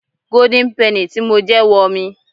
Golden penny tí mo jẹ wo mi.